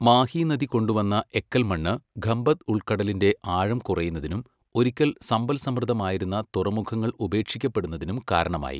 മാഹി നദി കൊണ്ടുവന്ന എക്കൽമണ്ണ് ഖംഭത് ഉൾക്കടലിൻ്റെ ആഴം കുറയുന്നതിനും ഒരിക്കൽ സമ്പൽസമൃദ്ധമായിരുന്ന തുറമുഖങ്ങൾ ഉപേക്ഷിക്കപ്പെടുന്നതിനും കാരണമായി.